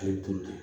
A ye dun